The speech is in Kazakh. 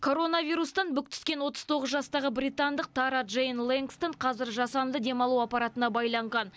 коронавирустан бүк түскен отыз тоғыз жастағы британдық тара джейн лэнгстон қазір жасанды дем алу аппаратына байланған